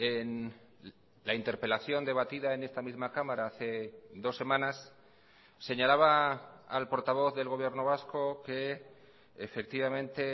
en la interpelación debatida en esta misma cámara hace dos semanas señalaba al portavoz del gobierno vasco que efectivamente